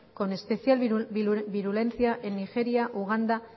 con especial virulencia en nigeria uganda